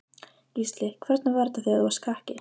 Gísli: Hvernig var þetta þegar þú varst krakki?